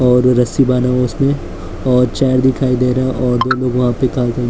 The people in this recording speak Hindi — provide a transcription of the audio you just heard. और वो रस्सी बंधा हुआ है उसने और चेयर दिखाई दे रहा है और दो लोग वहां पे काम--